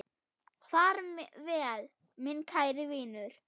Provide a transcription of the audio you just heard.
Far vel, minn kæri vinur.